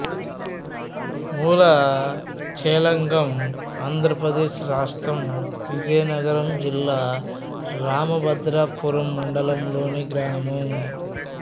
ములచెలగం ఆంధ్ర ప్రదేశ్ రాష్ట్రం విజయనగరం జిల్లా రామభద్రాపురం మండలంలోని గ్రామం